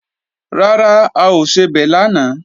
Rárá, a ò sebẹ̀ lánàá